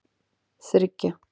þriggja